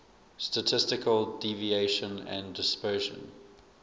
statistical deviation and dispersion